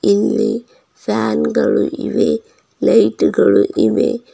ಇಲ್ಲಿ ಫ್ಯಾನ್ ಗಳು ಇವೆ ಲೈಟುಗಳು ಇವೆ.